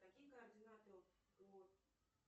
какие координаты у